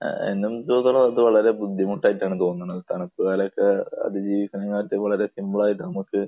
എന്നെ സംബന്ധിച്ചിടത്തോളം അത് വളരെ ബുദ്ധിമുട്ടായിട്ടാണ് തോന്നുന്നത്. തണുപ്പ് കാലത്തെ അതിജീവിക്കണമെങ്കിൽ അതുപോലെ നമുക്ക്